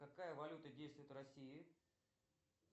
какая валюта действует в россии